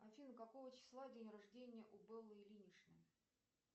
афина какого числа день рождения у беллы ильиничны